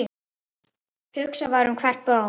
Hugsað var um hvert blóm.